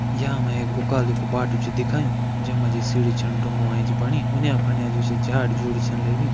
यहाँ हमे एक उकाल्यू कु बाटू च दिखाँयु जैमा जी सीढ़ी छण ढुंगो एैच बणी उन्या फन्या जो छ झाड़ी झूड़ी छन लगीं।